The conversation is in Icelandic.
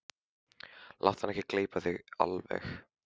Láttu hann ekki gleypa þig alveg!